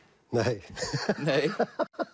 nei